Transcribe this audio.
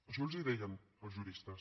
això els ho deien els juristes